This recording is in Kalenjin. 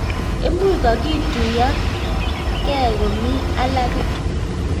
imuuch kokituyo nget komii alaake